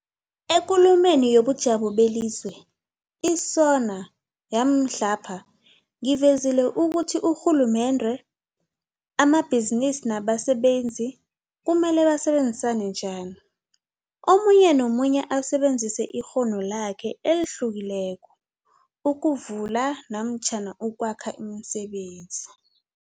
EKulumeni yobuJamo beliZwe, i-SoNA, yamhlapha, ngivezile ukuthi urhulumende, amabhizinisi nabasebenzi kumele basebenzisane njani, omunye nomunye asebenzise ikghono lakhe elihlukileko, ukuvula namatjhana ukwakha imisebenzi.